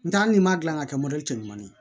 N tɛ hali n'i ma gilan ka kɛ mɔbili cɛ ɲuman ye